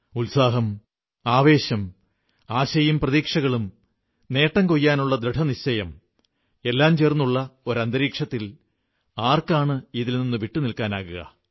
ഉത്സാഹം ആവേശം ആശയും പ്രതീക്ഷകളും നേട്ടം കൊയ്യാനുള്ള ദൃഢനിശ്ചയം എല്ലാം ചേർന്നുള്ള ഒരു അന്തരീക്ഷത്തിൽ ആർക്കാണ് ഇതിൽ നിന്ന് വിട്ടുനില്ക്കാനാകുക